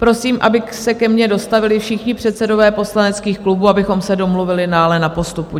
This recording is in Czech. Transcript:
Prosím, aby se ke mně dostavili všichni předsedové poslaneckých klubů, abychom se domluvili na dalším postupu.